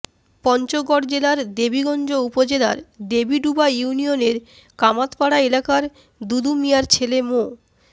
পঞ্চগড় জেলার দেবীগঞ্জ উপজেলার দেবীডুবা ইউনিয়নের কামাতপাড়া এলাকার দুদু মিয়ার ছেলে মো